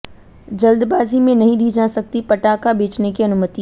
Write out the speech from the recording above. जल्दबाजी में नहीं दी जा सकती पटाखा बेचने की अनुमति